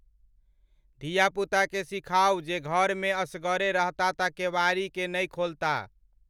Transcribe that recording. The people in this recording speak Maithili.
धीया पुता के सिखाऊं जे घर में असगरे रहता त केवारी के नाई खोलता